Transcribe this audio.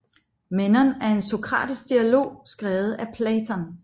Menon er en sokratisk dialog skrevet af Platon